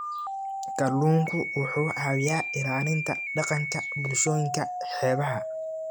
Kalluunku wuxuu caawiyaa ilaalinta dhaqanka bulshooyinka xeebaha.